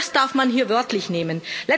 Und das darf man hier wörtlich nehmen.